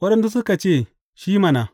Waɗansu suka ce shi mana.